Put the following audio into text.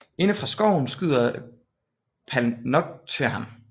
Inde fra skoven skyder Palnatoke ham